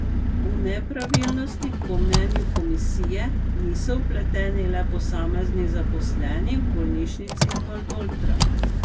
V nepravilnosti, po mnenju komisije, niso vpleteni le posamezni zaposleni v bolnišnici Valdoltra.